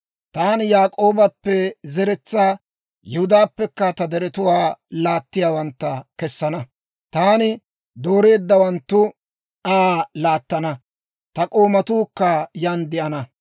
Taani Yaak'oobappe zeretsaa, Yihudaappekka ta deretuwaa laattiyaawantta kessana; taani dooreeddawanttu Aa laattana; ta k'oomatuukka yan de'ana.